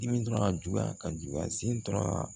Dimi dɔrɔn a juguya ka juguya sen dɔrɔn ma